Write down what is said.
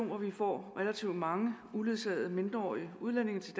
hvor vi får relativt mange uledsagede mindreårige udlændinge til